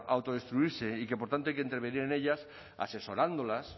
a autodestruirse y que por tanto hay que intervenir en ellas asesorándolas